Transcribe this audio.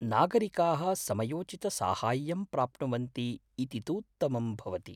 नागरिकाः समयोचितसाहाय्यं प्राप्नुवन्ति इति तूत्तमं भवति।